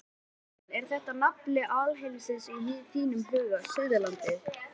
Magnús Halldórsson: Er þetta nafli alheimsins í þínum huga, Suðurlandið?